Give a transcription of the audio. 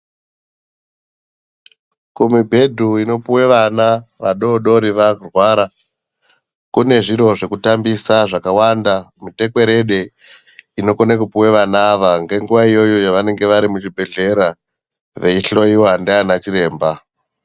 Kumibhedhu inopuwe vana, vadoodori varwara ,kune zviro zvekutambisa zvakawanda, mitekwerede inokone kupuwe vana ava, ngenguwa iyoyo yevanenge vari muzvibhedhlera veihloiwa ndiana chiremba.